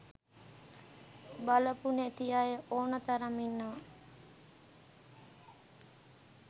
බලපු නැති අය ඕන තරම් ඉන්නවා.